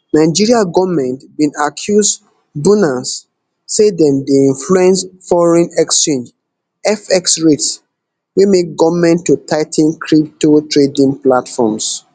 nigeria goment bin accuse bunance say dem dey influence foreign exchange fx rates wey make goment to tigh ten crypto trading platforms